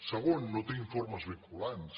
segon no té informes vinculants